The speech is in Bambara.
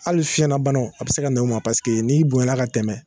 Hali fiɲɛnabanaw a bi se ka na n'o ma paseke n'i bonyana ka tɛmɛ